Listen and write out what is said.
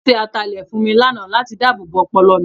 Wọ́n ṣe ataalẹ̀ fún mi lánàá láti dáàbòbo ọpọlọ mi.